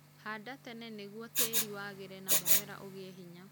Handa tene nĩguo tĩĩri wagĩre na mũmera ũgĩe hinya